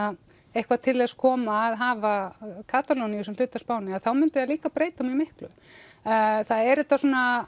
eitthvað til þess koma að hafa Katalóníu sem hluta af Spáni þá myndi það líka breyta mjög miklu það er þetta